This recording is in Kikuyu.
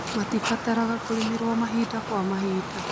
matibataraga kũrĩmĩrwo mahinda kwa mahinda